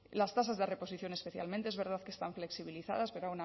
las tasas de reposición especialmente es verdad que están flexibilizadas pero